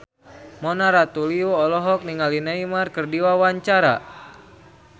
Mona Ratuliu olohok ningali Neymar keur diwawancara